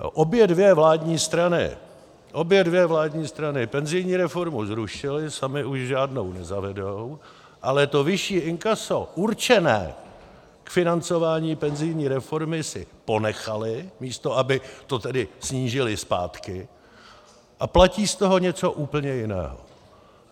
Obě dvě vládní strany, obě dvě vládní strany penzijní reformu zrušily, samy už žádnou nezavedou, ale to vyšší inkaso určené k financování penzijní reformy si ponechaly, místo aby to tedy snížily zpátky, a platí z toho něco úplně jiného.